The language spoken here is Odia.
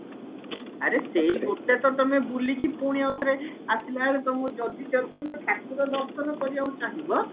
ଆରେ ସେଇ ଗୋଟେ ତ ତମେ ବୁଲିକି ପୁଣି ଆଉ ଥରେ ଆସିଲାବେଳେ ତମକୁ ଯଦି ଯଦି ତମେ ଠାକୁର ଦର୍ଶନ କରିବାକୁ ଚାହିଁବ